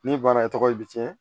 Ni bana e tɔgɔ ye bi cɛn